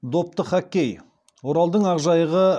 допты хоккей оралдың ақжайығы